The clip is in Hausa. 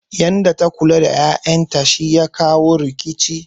Yanda ta lura da ƴaƴan ta shi ya kawo rikicin